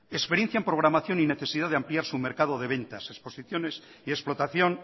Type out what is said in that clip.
experiencia en programación y necesidad de ampliar su mercado de ventas exposiciones y explotación